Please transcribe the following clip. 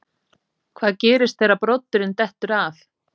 Hvað gerist þegar broddurinn dettur af?